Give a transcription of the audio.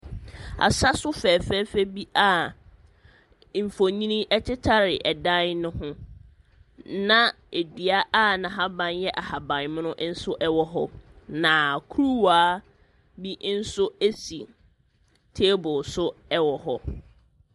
Asa so fɛɛfɛɛfɛ bi a mfonini tetare dan no ho, na dua a n'ahaban yɛ ahaban mono nso wɔ hɔ, na kuruwa ni nso si table so wɔ hɔ.